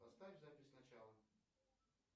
поставь запись сначала